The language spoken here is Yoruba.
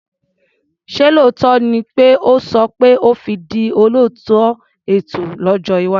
Ṣé lóòótọ́ ni pé o sọ pé o fi di olóòtú ètò lójọ́ iwájú?